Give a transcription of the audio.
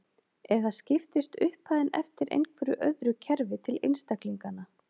Eða skiptist upphæðin eftir einhverju öðru kerfi til einstaklinganna.